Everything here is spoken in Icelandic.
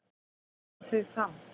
Hvar eru þau þá?